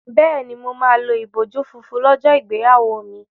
Bẹ́ẹ̀ni, mo máa lo ìbòjú funfun lọ́jọ́ ìgbéyàwó mi.